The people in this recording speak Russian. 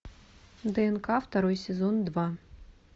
днк второй сезон два